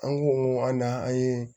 An ko an na an ye